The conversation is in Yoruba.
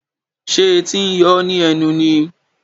Ṣé etí ń yóò ní ẹnu ni?